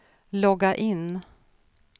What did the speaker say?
logga in